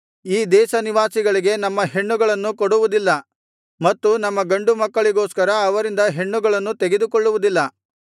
ಈ ದೇಶನಿವಾಸಿಗಳಿಗೆ ನಮ್ಮ ಹೆಣ್ಣುಗಳನ್ನು ಕೊಡುವುದಿಲ್ಲ ಮತ್ತು ನಮ್ಮ ಗಂಡು ಮಕ್ಕಳಿಗೋಸ್ಕರ ಅವರಿಂದ ಹೆಣ್ಣುಗಳನ್ನು ತೆಗೆದುಕೊಳ್ಳುವುದಿಲ್ಲ